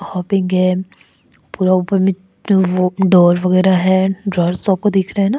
Hopping हैं पूरा ऊपर में तो वो डोर वगैरा है डोर्स आपको दिख रहा है ना।